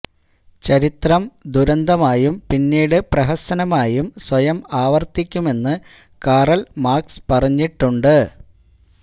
ചരിത്രം ദുരന്തമായും പിന്നീട് പ്രഹസനമായും സ്വയം ആവർത്തിക്കുമെന്ന് കാറൽ മാർക്സ് പറഞ്ഞിട്ടുണ്ട്